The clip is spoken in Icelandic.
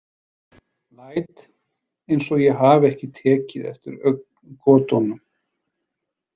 Læt eins og ég hafi ekki tekið eftir augngotunum.